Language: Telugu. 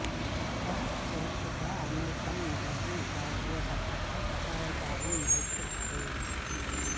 చిత్రం శీర్షిక అమెరికా మాజీ జాతీయ భద్రతా సలహాదారు మైఖేల్ ఫ్లిన్